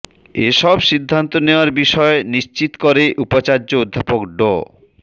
এসব সিদ্ধান্ত নেওয়ার বিষয় নিশ্চিত করে উপাচার্য অধ্যাপক ড